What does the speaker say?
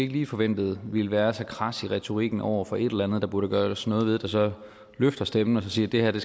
lige forventede ville være så krads i retorikken over for et eller andet der burde gøres noget ved som løfter stemmen og siger at det